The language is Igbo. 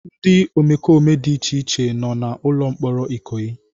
Ndị omekome dị iche iche nọ na ụlọ mkpọrọ Ikoyi.